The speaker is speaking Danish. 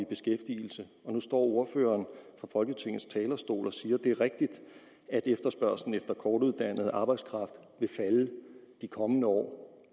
beskæftigelse nu står ordføreren på folketingets talerstol og siger at det er rigtigt at efterspørgslen efter kortuddannet arbejdskraft vil falde de kommende år